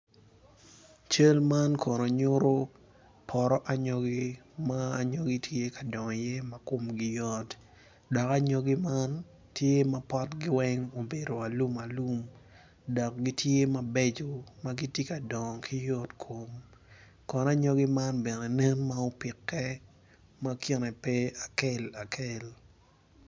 Cal man kono nyuto poto anyogi ma anyogi tye ka dongo iye ma komgi yot dok anyogi man tye ma potgi weng obedo alumalum dok gitye mabeco ma gitye ka dongo ki yotkom kono anyogi man bene nen ma opikke ma kine pe akel akel.